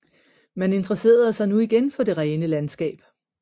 Man interesserede sig nu igen for det rene landskab